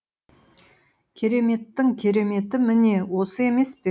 кереметтің кереметі міне осы емес пе